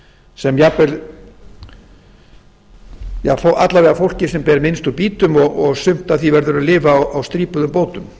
sem jafnvel alla vega fólkið sem ber minnst úr býtum og sumt af því verður að lifa á strípuðum bótum